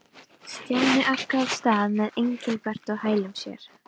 Stjáni arkaði af stað með Engilbert á hælum sér.